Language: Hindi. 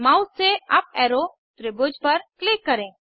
माउस से अप एरो त्रिभुज पर क्लिक करें